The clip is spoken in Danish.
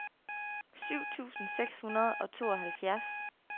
syv tusind seks hundrede og tooghalvfjerds